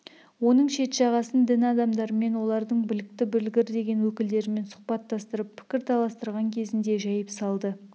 оның шет жағасын дін адамдарымен олардың білікті білгір деген өкілдерімен сұхбаттастырып пікір таластырған кезінде жайып салды